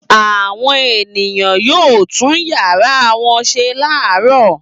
Àwọn ènìyàn yóò tún ìyàrá wọn ṣe láàárọ̀.